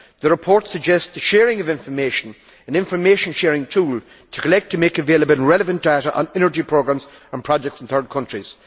The report suggests a sharing of information, using an information sharing tool, to collect and make available relevant data on energy programmes and projects in third countries.